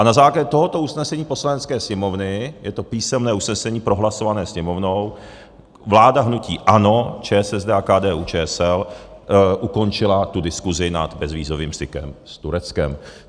A na základě tohoto usnesení Poslanecké sněmovny, je to písemné usnesení prohlasované Sněmovnou, vláda hnutí ANO, ČSSD a KDU-ČSL ukončila tu diskusi nad bezvízovým stykem s Tureckem.